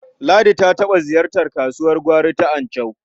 Ladi ta taɓa ziyartar kasuwar gwari ta Anchau.